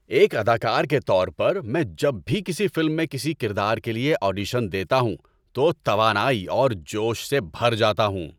ایک اداکار کے طور پر، میں جب بھی کسی فلم میں کسی کردار کے لیے آڈیشن دیتا ہوں تو توانائی اور جوش سے بھر جاتا ہوں۔